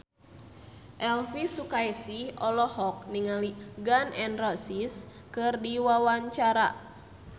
Elvy Sukaesih olohok ningali Gun N Roses keur diwawancara